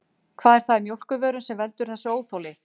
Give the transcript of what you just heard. Hvað er það í mjólkurvörum sem veldur þessu óþoli?